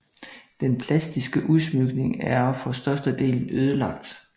Den plastiske udsmykning er for størstedelen ødelagt